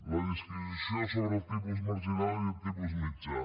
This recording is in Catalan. la disquisició sobre el tipus marginal i el tipus mitjà